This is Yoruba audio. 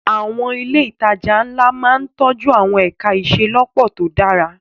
Àwọn ilé ìtajà ńlá máa ń tọ́jú àwọn ẹ̀ka ìṣelọ́pọ̀ tó dára.